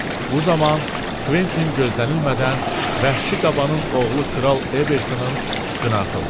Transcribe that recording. Bu zaman Kventin gözlənilmədən vəhşi qabanın oğlu kral Ebersun üstünə atıldı.